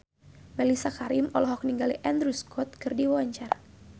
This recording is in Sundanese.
Mellisa Karim olohok ningali Andrew Scott keur diwawancara